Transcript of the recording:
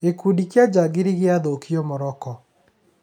Gĩkundi kĩa njangiri gĩathũkio Morocco